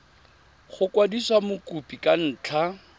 go kwadisa mokopi ka ntlha